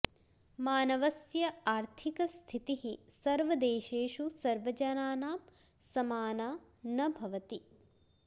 मानवस्य आर्थिक स्थितिः सर्वदेशेषु सर्वजनानां समाना न भवति